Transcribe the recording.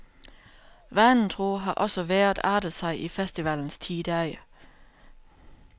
Vanen tro har også vejret artet sig i festivalens ti dage.